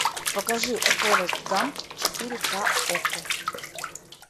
покажи форест гамп четыре ка окко